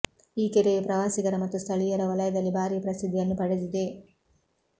ಈ ಕೆರೆಯು ಪ್ರವಾಸಿಗರ ಮತ್ತು ಸ್ಥಳೀಯರ ವಲಯದಲ್ಲಿ ಭಾರೀ ಪ್ರಸಿದ್ಧಿಯನ್ನು ಪಡೆದಿದೆ